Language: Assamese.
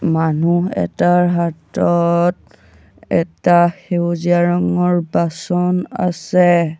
মানুহ এটাৰ হাতত এটা সেউজীয়া ৰঙৰ বাচন আছে।